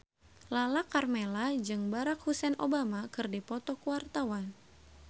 Lala Karmela jeung Barack Hussein Obama keur dipoto ku wartawan